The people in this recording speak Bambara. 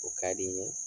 O ka di n ye